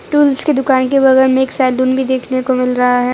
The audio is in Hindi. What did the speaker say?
टूल्स की दुकान के बगल में एक सैलून भी देखने को मिल रहा है।